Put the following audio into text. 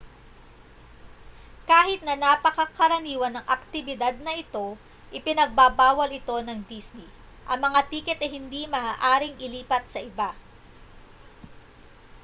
kahit na napakakaraniwan ng aktibidad na ito ipinagbabawal ito ng disney ang mga tiket ay hindi maaaring ilipat sa iba